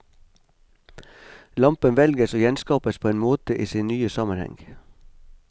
Lampen velges og gjenskapes på en måte i sin nye sammenheng.